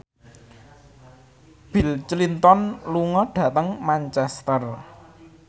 Bill Clinton lunga dhateng Manchester